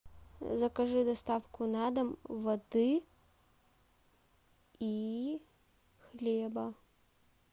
закажи доставку на дом воды и хлеба